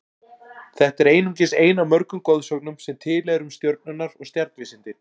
Þetta er einungis ein af mörgum goðsögnum sem til eru um stjörnurnar og stjarnvísindin.